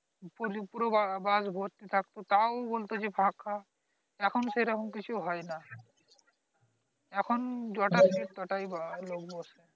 ~পুরো bus ভর্তি থাকত তাহ বলত ফাকা এখন সেরকম কিছু হয় না এখন জয়টা seat তটাই লোক বসে